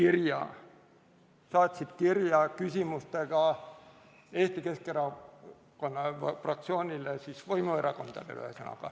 Nad saatsid kirja küsimustega Eesti Keskerakonna fraktsioonile, ühesõnaga, võimuerakondadele.